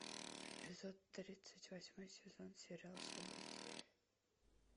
эпизод тридцать восьмой сезон сериал событие